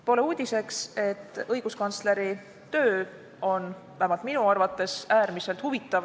Pole uudis, et õiguskantsleri töö on, vähemalt minu arvates, äärmiselt huvitav.